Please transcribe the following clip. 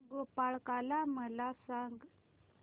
गोपाळकाला मला सांग